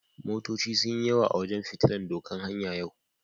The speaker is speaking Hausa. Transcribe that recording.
Motoci sun yi yawa a wajen fitillan doƙan hanya yau.